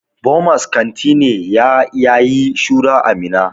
Bomas kanti ne ya yayi shura a Minna.